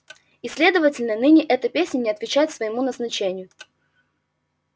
и следовательно ныне эта песня не отвечает своему назначению